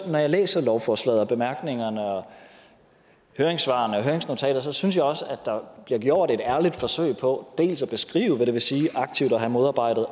når jeg læser lovforslaget og bemærkningerne og høringssvarene og høringsnotatet synes jeg også der bliver gjort et ærligt forsøg på dels at beskrive hvad det vil sige aktivt at have modarbejdet